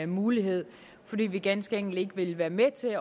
mulighed fordi vi ganske enkelt ikke vil være med til